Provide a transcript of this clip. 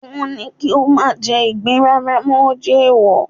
wọn ní kí o mà jẹ igbín rara mọ, o jè eèwò